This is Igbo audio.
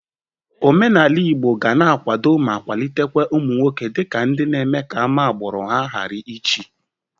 Omenala Igbo ga na-akwado ma kwalitekwa ụmụ nwoke dị ka ndị na-eme ka ama agbụrụ ha gara ichie.